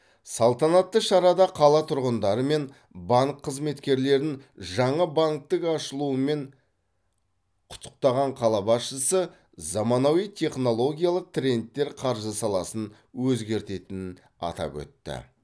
салтанатты шарада қала тұрғындары мен банк қызметкерлерін жаңа банктің ашылуымен құттықтаған қала басшысы заманауи технологиялық трендтер қаржы саласын өзгертетінін атап өтті